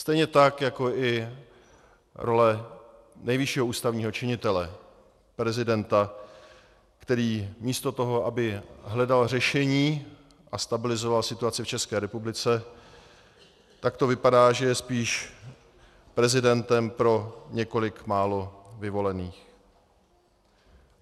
Stejně tak jako i role nejvyššího ústavního činitele, prezidenta, který místo toho, aby hledal řešení a stabilizoval situaci v České republice, tak to vypadá, že je spíš prezidentem pro několik málo vyvolených.